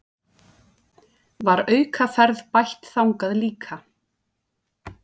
Var aukaferð bætt þangað líka